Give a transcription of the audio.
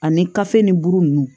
Ani kafe ni buru nunnu